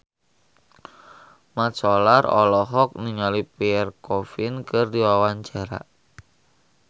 Mat Solar olohok ningali Pierre Coffin keur diwawancara